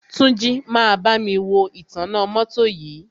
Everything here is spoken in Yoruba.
Túnjí máa bámi wo ìtanná mọ́tọ́ yìí.